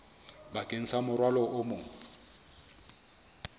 bakeng sa morwalo o mong